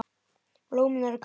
Blómin eru hvít.